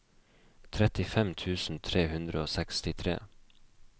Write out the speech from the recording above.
trettifem tusen tre hundre og sekstitre